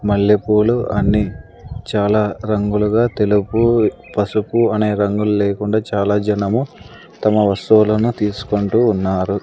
మల్లెపూలు అన్ని చాలా రంగులుగా తెలుపు పసుపు అనే రంగుల్లేకుండా చాలా జనము తమ వస్తువులను తీసుకొంటూ ఉన్నారు.